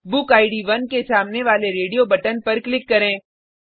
बुकिड 1 के सामने वाले रेडियो बटन पर क्लिक करें